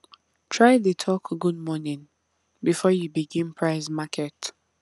try dey talk good morning before you begin price market